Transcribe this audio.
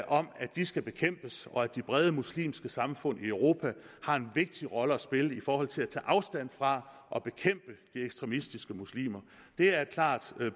om at de skal bekæmpes og at de brede muslimske samfund i europa har en vigtig rolle at spille i forhold til at tage afstand fra og bekæmpe de ekstremistiske muslimer det er et klart